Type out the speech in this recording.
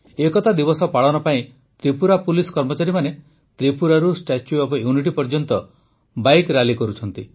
ଏକତା ଦିବସ ପାଳନ ପାଇଁ ତ୍ରିପୁରା ପୁଲିସ୍ କର୍ମଚାରୀମାନେ ତ୍ରିପୁରାରୁ ଷ୍ଟାଚ୍ୟୁ ଅଫ୍ ୟୁନିଟି ପର୍ଯ୍ୟନ୍ତ ବାଇକ୍ ରାଲି କରୁଛନ୍ତି